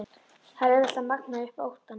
Það er auðvelt að magna upp óttann.